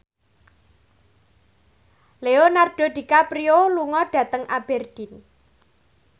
Leonardo DiCaprio lunga dhateng Aberdeen